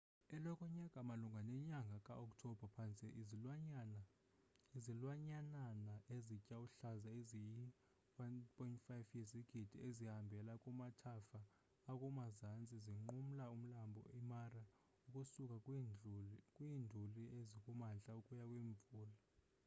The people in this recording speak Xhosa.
eloko nyaka malunga nenyaga ka oktobha phantse izilwanyanana ezitya uhlaza ezi yi 1.5 yezigidi zihambela kumathafa akumazantsi zinqumla umlambo i mara ukusuka kwiinduli ezikumantla ukuya kwimvula